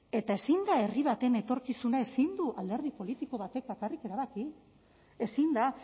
eta ezin da herri baten etorkizuna ezin du alderdi politiko batek bakarrik erabaki ezin da